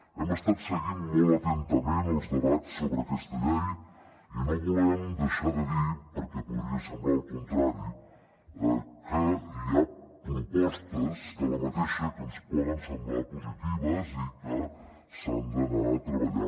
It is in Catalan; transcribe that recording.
hem estat seguint molt atentament els debats sobre aquesta llei i no volem deixar de dir perquè podria semblar el contrari que hi ha propostes d’aquesta que ens poden semblar positives i que s’han d’anar treballant